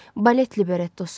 Balet librettosu.